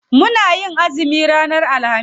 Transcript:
Muna yin azumi ranar alhamis.